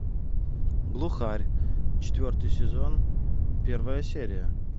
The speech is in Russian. глухарь четвертый сезон первая серия